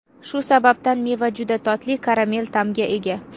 Shu sababdan meva juda totli karamel ta’mga ega.